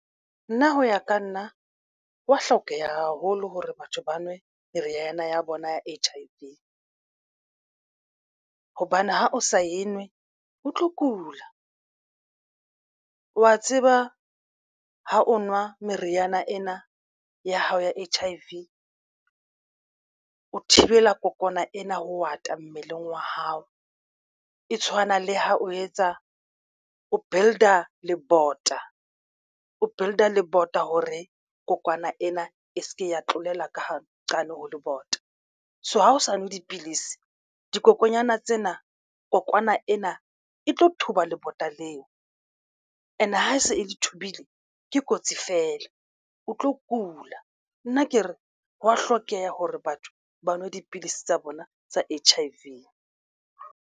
Nna ho ya ka nna hwa hlokeha haholo hore batho ba nwe meriana ya bona ya H_I_V hobane ha o sa e nngwe o tlo kula wa tseba ha o nwa meriana ena ya hao ya H_I_V o thibela kokwana ena ho ata mmeleng wa hao. E tshwana le ha o etsa o build-a le bota o builder le bota hore kokwana ena e se ke ya tlolela ka ho qane ho le bota. So, ha o sa nwe dipilisi dikokonyana tsena kokwana ena e tlo thuba lebota leo and ha e se e le thubile ke kotsi fela o tlo kula. Nna ke re ho wa hlokeha hore batho ba nwe dipidisi tsa bona tsa H_I_V.